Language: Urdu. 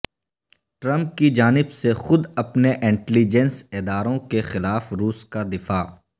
ٹرمپ کی جانب سے خود اپنے انٹیلی جنس اداروں کے خلاف روس کا دفاع